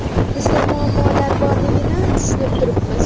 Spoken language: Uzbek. Bizda muammolar borligini tushunib turibmiz.